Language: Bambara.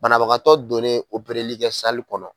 Banabagatɔ donnen operli kɛ kɔnɔ